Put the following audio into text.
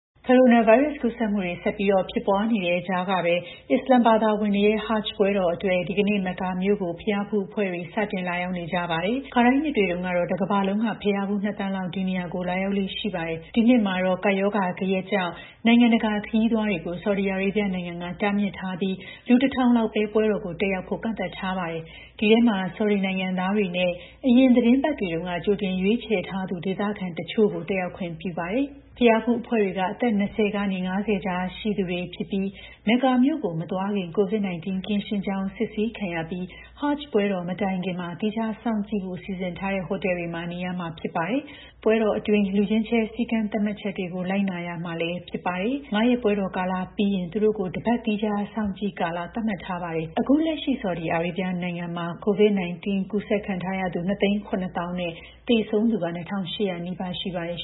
ကိုရိုနာဗိုင်းရပ်စ်ကူးစက်မှုတွေ ဆက်ပြီးဖြစ်ပွားနေတဲ့ ကြားကပဲ အစ္စလာမ်ဘာသာဝင်တွေရဲ့ Hajj ပွဲတော်အတွက် ဒီကနေ့ Mecca မြို့ကို ဘုရားဖူးအဖွဲ့တွေ စတင်လာရောက်နေကြပါတယ်။ ခါတိုင်းနှစ်တွေတုန်းက တကမ္ဘာလုံးက ဘုရားဖူး ၂,၀၀၀,၀၀၀ လောက် ဒီနေရာကို လာရောက်လေ့ရှိတာပါ။ ဒီနှစ်မှာတော့ ကပ်ရောဂါ ဂယက်ကြောင့် နိုင်ငံတကာခရီးသွားတွေကို ဆော်ဒီအာရေဗျနိုင်ငံကတားမြစ်ထားပြီး လူ ၁,၀၀၀ လောက်ပဲ ပွဲတော်ကို တက်ရောက်ဖို့ ကန့်သတ်ထားပါတယ်။ ဒီအထဲမှာ ဆော်ဒီနိုင်ငံသားတွေနဲ့ အရင်သီတင်းပတ်တွေတုန်းက ကြိုတင်ရွေးချယ်ထားသူ ဒေသခံတချို့ကိုပဲတက်ရောက်ခွင့်ပြုတာပါ။ ဘုရားဖူးအဖွဲ့တွေက အသက် ၂၀ က ၅၀ ကြားရှိသူတွေဖြစ်ပြီး Mecca မြို့ကို မသွားခင် COVID-19 ကင်းရှင်းကြောင်း စစ်ဆေးခံရပြီး Hajj ပွဲတော် မတိုင်ခင် သီးခြားစောင့်ကြည့်ဖို့ စီစဉ်ထားတဲ့ ဟိုတယ်တွေမှာ နေရမှာဖြစ်ပါတယ်။ ပွဲတော်တွင်းလူချင်းချဲ စည်းကမ်းသတ်မှတ်ချက်တွေ လိုက်နာရမှာလည်းဖြစ်ပါတယ်။ ၅ ရက်ပွဲတော်ကာလပြီးရင်လည်း သူတို့ကို ၁ ပတ် သီးခြားစောင့်ကြည့်ကာလ သတ်မှတ်ထားပါတယ်။ ဆော်ဒီအာရေဗျမှာ COVID-19 ကူးစက်သူ ၂၇၀,၀၀၀ နဲ့ သေဆုံးသူ ၂,၈၀၀ နီးပါးရှိပါတယ်